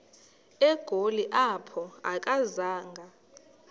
egoli apho akazanga